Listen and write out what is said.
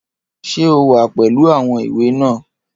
Ṣé o wà pẹ̀lú àwọn ìwé náà?